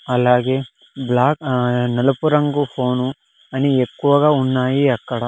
అలాగే బ్లాక్ నలుపు రంగు ఫోను అని ఎక్కువగా ఉన్నాయి అక్కడ.